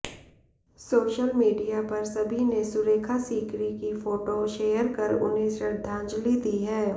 social media पर सभी ने सुरेखा सीकरी की फोटो शेयर कर उन्हें श्रद्धांजलि दी है